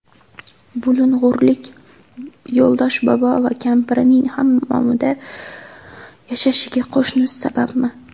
Bulung‘urlik Yo‘ldosh bobo va kampirining hammomda yashashiga qo‘shnisi sababmi?